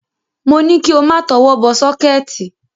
Mo ní kí o má tọwọ́ bọ sọ́kẹ́ẹ̀tì.